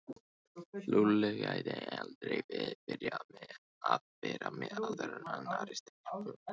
Lúlli gæti aldrei byrjað að vera með annarri stelpu.